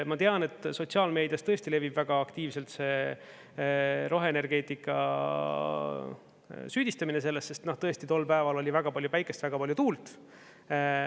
Ma tean, et sotsiaalmeedias tõesti levib väga aktiivselt roheenergeetika süüdistamine selles, sest tõesti, tol päeval oli väga palju päikest ja väga palju tuult.